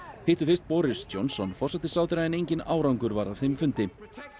hittu fyrst Boris Johnson forsætisráðherra en enginn árangur varð af þeim fundi